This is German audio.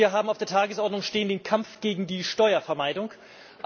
Wir haben auf der Tagesordnung den Kampf gegen die Steuervermeidung stehen.